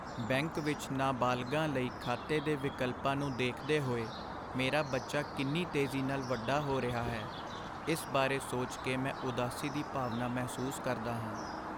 Bank ਵਿੱਚ ਨਾਬਾਲਗਾਂ ਲਈ ਖਾਤੇ ਦੇ ਵਿਕਲਪਾਂ ਨੂੰ ਦੇਖਦੇ ਹੋਏ ਮੇਰਾ ਬੱਚਾ ਕਿੰਨੀ ਤੇਜ਼ੀ ਨਾਲ ਵੱਡਾ ਹੋ ਰਿਹਾ ਹੈ, ਇਸ ਬਾਰੇ ਸੋਚ ਕੇ ਮੈਂ ਉਦਾਸੀ ਦੀ ਭਾਵਨਾ ਮਹਿਸੂਸ ਕਰਦਾ ਹਾਂ।